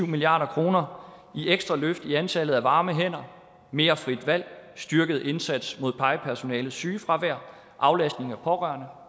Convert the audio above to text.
milliard kroner i ekstra løft i antallet af varme hænder mere frit valg styrket indsats mod plejepersonalets sygefravær aflastning af pårørende